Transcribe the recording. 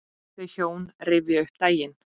Þau hjón rifja upp daginn.